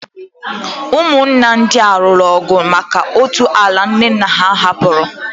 Ụmụnna ndị a lụrụ ọgụ maka otu ala nna ha hapụrụ.